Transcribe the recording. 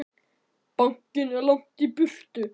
Bankinn er langt í burtu.